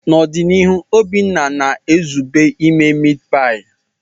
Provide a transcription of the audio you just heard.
N'ọdịnihu, Obinna na-ezube ime mitipai.